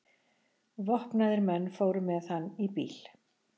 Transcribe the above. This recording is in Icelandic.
Vopnaðir menn fóru með hann í bíl.